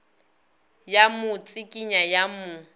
ya mo tsikinya ya mo